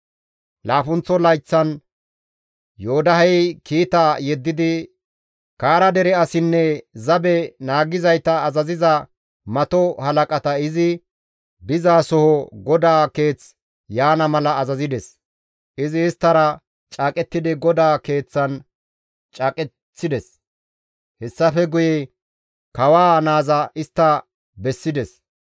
Laappunththo layththan Yoodahey kiita yeddidi Kaara dere asinne zabe naagizayta azaziza mato halaqata izi dizasoho GODAA Keeth yaana mala azazides; izi isttara caaqettidi GODAA keeththan caaqeththides; hessafe guye kawaa naaza istta bessides.